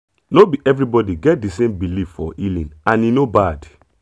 no be everybody get the same belief for healing and e no bad